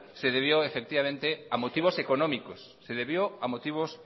se debió a motivos